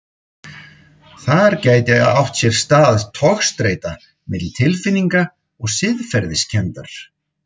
Þar gæti átt sér stað togstreita milli tilfinninga og siðferðiskenndar.